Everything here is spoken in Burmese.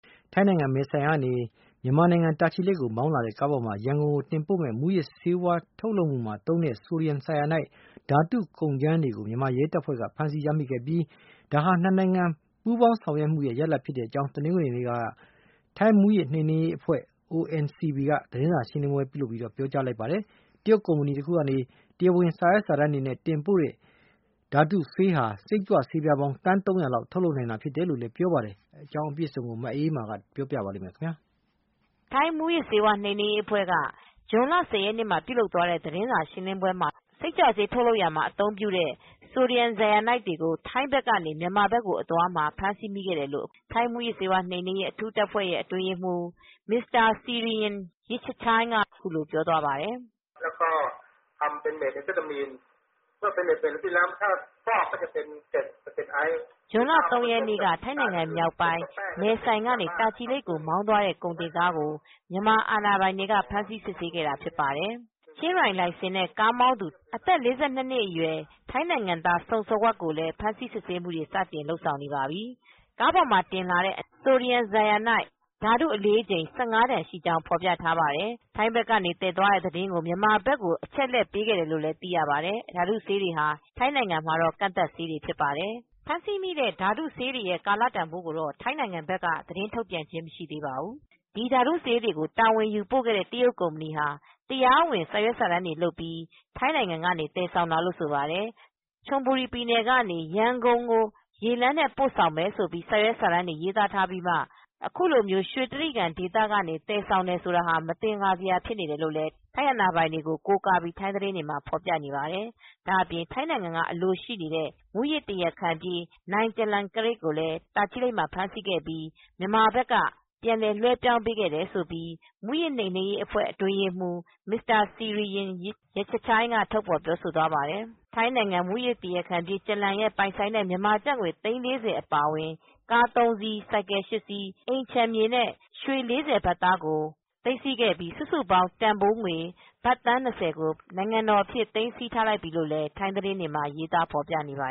ထိုင်းနိုင်ငံ မဲဆိုင်ကနေ မြန်မာနိုင်ငံ တာချီလိတ်ကို မောင်းလာတဲ့ ကားပေါ်မှာ ရန်ကုန်ကို တင်ပို့မယ့် မူးယစ်ဆေးဝါးထုတ်ရာမှာသုံးတဲ့ ဆိုဒီယမ် ဆိုင်ယာနိုက် ဓါတုကုန်ကြမ်း ၁၅ တန်ကို မြန်မာရဲတပ်ဖွဲ့ မူးယစ်ဆေးဝါး နှိမ်နင်းရေးဆိုင်ရာ (CCDAC) က ဖမ်းဆီးရမိခဲ့ပြီး ဒါဟာ ၂ နိုင်ငံ ပူးပေါင်း ဆောင်ရွက်မှုရဲ့ ရလဒ်ဖြစ်ကြောင်းတနင်္ဂတွေနေ့က ထိုင်းမူးယစ်နှိမ်နင်းရေး အဖွဲ့ (ONCB) က သတင်းစာရှင်းလင်းပွဲမှာ ပြောပါတယ်။ တရုတ် ကုမ္ပဏီက တရားဝင်စာရွက်စာတမ်းတွေနဲ့ တင်ပို့တဲ့ အလေးချိန် ၁၅ တန်ရှိတဲ့ ဒီဓါတုဆေး ဂါလံ ၃၀၀ ဟာ စိတ်ကြွဆေးပြားပေါင်း သန်း၃၀၀ လောက် ထုတ်လုပ်နိုင်တာဖြစ်ကြောင်းလည်း ပြောပါတယ်။ VOA ထိုင်းအခြေစိုက်သတင်းထောက် မအေးအေးမာကသတင်းပေးပို့ထားပါတယ် ထိုင်း မူးယစ်နိမ်နင်းရေး အဖွဲ့က ဇွန်လ ၁၀့ရက်နေ ့ပြုလုပ်သွားတဲ့ သတင်းစာရှင်းလင်းပွဲမှာတော့ စိတ်ကြွဆေးထုတ်လုပ်ရာမှာ အသုံးပြုတဲ့ sodium cyanide တွေကို ထိုင်းဘက်ကနေ မြန်မာဘက်ကကိုအသွားမှာ ဖမ်းဆီးမိခဲ့တယ်လို့ ထိုင်းမူယစ်နိမ်နင်းရေးအ ထူးအဖွဲ့အတွင်းရေးမှူး Mr. Sirin Yaichachai စီရိရင် ယစ်ချချိုင်းက အခုလိုပြောပါတယ်။ "ဇွန်လ (၃) ရက်နေ့က ထိုင်းနိုင်ငံ မြောက်ပိုင်း မဲဆိုင်က နေ တာချီလိတ်ကို မောင်းသွားတဲ့ ကုန်တင်ကား ကို မြန်မာအာဏာပိုင်တွေက ဖမ်းဆီးစစ်ဆေးခဲ့တာဖြစ်ပါတယ်။ ချင်းရိုင် လိုင်စဉ် နဲ့ ကုန်တင်ကားမောင်းသူအသက် ၄၂နှစ်အရွယ် ထိုင်းနိုင်ငံသား စုံစဝမ် ကိုလည်းဖမ်းဆီးစစ်ဆေးမူတွေစတင်လုပ်ဆောင်နေပါပြီ။ " ကားပေါ်မှာတင်လာတဲ့ ဆိုဒီယမ် ဆိုင်ရာနိုက် sodium cyanide ဓါတုဆေးအလေးချိန် ၁၅ တန် ရှိကြောင်းဖေါ်ပြထားပါတယ်။ထိုင်းဘက်ကနေ သယ်သွားတဲ့သတင်းကို မြန်မာဘက်ကို အချက်အလက်ပေးခဲ့တယ်လို့လည်း သိရပါတယ်။ ဓါတုဆေးတွေဟာ ထိုင်းနိုင်ငံမှာတော့ကန့်သတ်ဆေးတွေဖြစ်ပါတယ် ဖမ်းဆီမိတဲ့ဓါတဆေးတွေရဲကာလတန်ဖိုးကိုတော့ ထိုင်းဘက်က သတင်းထုတ်ပြန်ခဲ့ခြင်း မရှိသေးပါဘူး။ ဒီဓါတုဆေးတွေကို တာဝန်ယူ ပို့တဲ့ တရုတ် ကုမ္ပဏီဟာ တရားဝင်စာရွက်စာတမ်းတွေလုပ်ပြီး ထိုင်းကနေသယ်တာလို့ဆိုပါတယ်။ချွန်ဘူရီ ပြည်နယ်ကနေ ရန်ကုန်ကို ရေလမ်းနဲ့ ပို့ဆောင်မယ်လို့ စာရွက်စာတမ်းတွေမှာရေးသားထားပြီးမှ အခုလို ရွှေတြိဂံဒေသကနေ သယ်ဆောင်တယ်ဆိုတာ မင်္သကာစရာဖြစ်နေပါတယ် လို့ ထိုင်းနိုင်ငံတွေကို ကိုးကားပြီး ထိုင်းသတင်းတွေမှာ ဖေါ်ပြထားပါတယ်။ ဒါအပြင် ထိုင်းနိုင်ငံ အလိုရှိနေတဲ့ မူးယစ်တရာခံပြေး Charoenkiat Phornpanit နိုင် ကျလန်ကရက်ကို တာချီလိတ် မှာ ဖမ်းမိခဲ့ပြီးမြန်မာအာပိုင်က ပြန်လည်လွဲပြောင်းပေးခဲ့တယ်လို့ မူယစ်နိမ်နင်းရေးအ ဖွဲ့အတွင်းရေးမှူး Mr. Sirin Yaichachai စီရိရင် ယစ်ချချိုင်းက ထုတ်ဖေါ်ပြောဆိုသွားပါတယ်။ ထိုင်းနိုင်ငံမူးယစ်တရားခံပြေး ကျလန် ရဲ့ပိုင်ဆိုင်တဲ့ မြန်မာကျပ်ငွေ သိန်း၄၀ အပါအဝင် ကားသုံးစီး ၊ ဆိုင်ကယ် ၈စီး အိမ်ခြံမြေနဲ့ ရွှေ၄၀ ဘတ်သား ပါ စုစုပေါင်း တန်ဖိုးဘတ်သန်း၂၀ ကို နိုင်ငံတော်ပိုင်အဖြစ် သိမ်းဆီးထားလိုက်ပြီလို့လည်း ထိုင်းသတင်းတွေမှာ ရေးသားဖော်ပြနေပါ